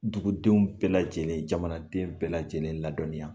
Dugudenw bɛɛ lajɛlen jamanaden bɛɛ lajɛlen ladɔnniya